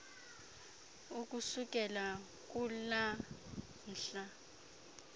ukusukela kulaa mhla